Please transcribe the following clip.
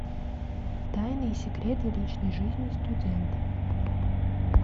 тайны и секреты личной жизни студентов